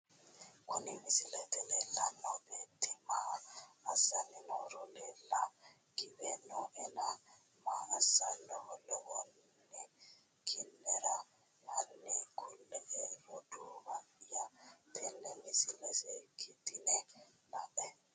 Kuni misilete leelano beeti maa asani nooro leela giwe nooena maa asanoha lawanone kinera hani kule`e roduuwaya tene misile seekitine la`e?